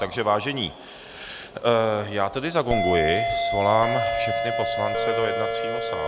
Takže vážení, já tedy zagonguji, svolám všechny poslance do jednacího sálu.